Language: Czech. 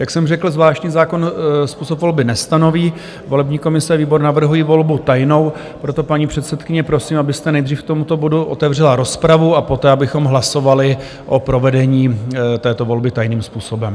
Jak jsem řekl, zvláštní zákon způsob volby nestanoví, volební komise a výbor navrhují volbu tajnou, proto, paní předsedkyně, prosím, abyste nejdříve k tomuto bodu otevřela rozpravu a poté abychom hlasovali o provedení této volby tajným způsobem.